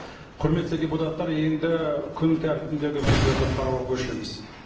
құрметті депутаттар енді күн тәртібіндегі мәселелерді қарауға көшеміз